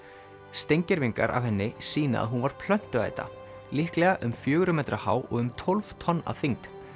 steingervingar af henni sýna að hún var líklega um fjögurra metra há og um tólf tonn að þyngd